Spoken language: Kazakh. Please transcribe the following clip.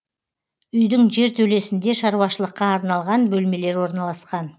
үйдің жертөлесінде шаруашылыққа арналған бөлмелер орналасқан